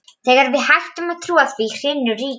Þegar við hættum að trúa því, hrynur ríkið!